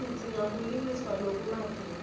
sidzinga kulungiswa lokumatima